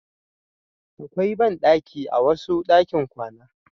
Da akwai banɗaki a wasu ɗakin kwana.